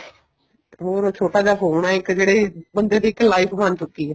ਹੋਰ ਛੋਟਾ ਜਾ phone ਹੈ ਇੱਕ ਜਿਹੜੀ ਬੰਦੇ ਦੀ ਇੱਕ life ਬਣ ਚੁੱਕੀ ਹੈ